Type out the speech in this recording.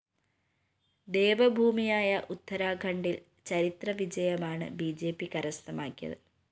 ദേവഭൂമിയായ ഉത്തരാഖണ്ഡില്‍ ചരിത്രവിജയമാണ് B J P കരസ്ഥമാക്കിയത്